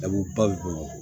A bɛ ba bi bolo